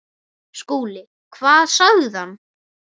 SKÚLI: Hvað sagði hann?